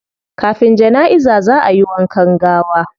Kafin janaiza zaa ayi wankan gawa